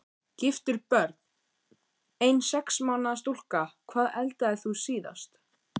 Giftur Börn: Ein sex mánaða stúlka Hvað eldaðir þú síðast?